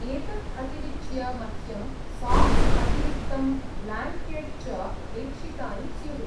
एतत् अतिरिच्य, मह्यं साक्स्, अतिरिक्तं ब्ल्याङ्केट् च अपेक्षितानि स्युः।